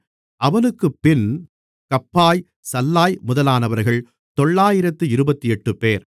அவனுக்குப்பின் கப்பாய் சல்லாய் முதலானவர்கள் தொளாயிரத்து இருபத்தெட்டுபேர்